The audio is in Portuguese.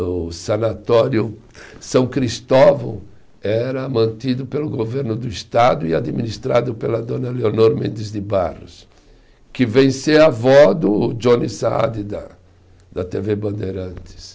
O sanatório São Cristóvão era mantido pelo governo do Estado e administrado pela dona Leonor Mendes de Barros, que vem ser a avó do Johnny Saad da da tê vê Bandeirantes.